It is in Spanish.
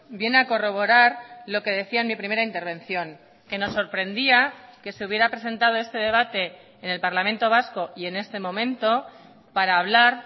viene a corroborar lo que decía en mi primera intervención que nos sorprendía que se hubiera presentado este debate en el parlamento vasco y en este momento para hablar